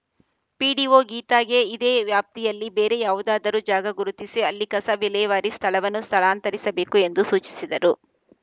PDO ಗೀತಾಗೆ ಇದೇ ವ್ಯಾಪ್ತಿಯಲ್ಲಿ ಬೇರೆ ಯಾವುದಾದರೂ ಜಾಗ ಗುರುತಿಸಿ ಅಲ್ಲಿ ಕಸ ವಿಲೇವಾರಿ ಸ್ಥಳವನ್ನು ಸ್ಥಳಾಂತರಿಸಬೇಕು ಎಂದು ಸೂಚಿಸಿದರು